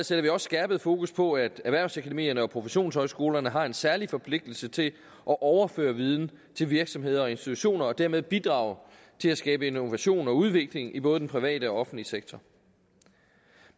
sætter vi også skærpet fokus på at erhvervsakademierne og professionshøjskolerne har en særlig forpligtelse til at overføre viden til virksomheder og institutioner og dermed bidrage til at skabe innovation og udvikling i både den private og offentlige sektor